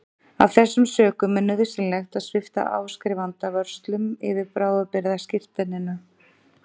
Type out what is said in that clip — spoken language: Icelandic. Af þessum sökum er nauðsynlegt að svipta áskrifanda vörslum yfir bráðabirgðaskírteininu.